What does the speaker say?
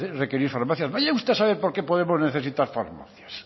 requerir farmacias vaya usted a saber por qué podemos necesitar farmacias